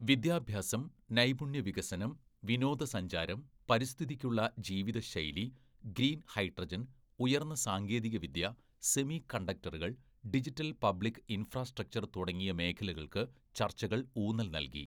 വിദ്യാഭ്യാസം, നൈപുണ്യ വികസനം, വിനോദസഞ്ചാരം, പരിസ്ഥിതിക്കുള്ള ജീവിതശൈലി, ഗ്രീൻ ഹൈഡ്രജൻ, ഉയർന്ന സാങ്കേതികവിദ്യ, സെമി കണ്ടക്ടറുകൾ, ഡിജിറ്റൽ പബ്ലിക് ഇൻഫ്രാസ്ട്രക്ചർ തുടങ്ങിയ മേഖലകൾക്ക് ചർച്ചകൾ ഊന്നൽ നൽകി.